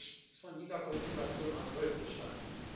Nichts von dieser Konstellation hat heute Bestand.